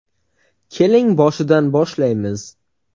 Keling boshidan boshlaymiz.